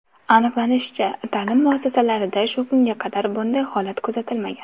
Aniqlanishicha, ta’lim muassasasida shu kunga qadar bunday holat kuzatilmagan.